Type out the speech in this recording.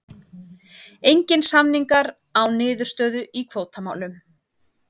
Engir samningar án niðurstöðu í kvótamálum